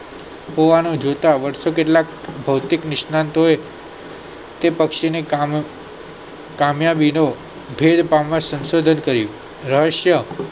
હોવાનું જોતા વર્ષો કેટલાક ભૌતિક કેટલાક નિસનાત માટે કે પછી ના કામે કામ્યા ગિનો ઘ્યે પામ્યા નું સંશોધન થઇ રહસ્યં આખું